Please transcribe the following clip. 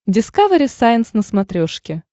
дискавери сайенс на смотрешке